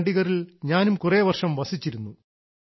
ചണ്ഡിഗറിൽ ഞാനും കുറേ വർഷം വസിച്ചിരുന്നു